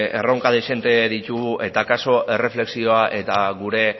erronka dezente ditugu eta akaso erreflexioa eta gure